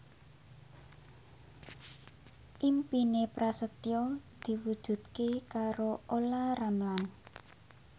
impine Prasetyo diwujudke karo Olla Ramlan